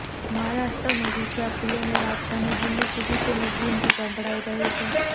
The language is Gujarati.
મહારાષ્ટ્ર અને ગુજરાતથી લઈને રાજધાની દિલ્હી સુધી તેની ગૂંજ સંભળાઈ રહી છે